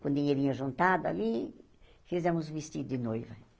Com dinheirinho juntado ali, fizemos o vestido de noiva.